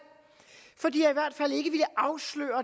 for de har